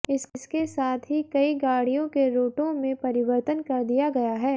इसके साथ ही कई गाड़ियों के रूटों में परिवर्तन कर दिया गया है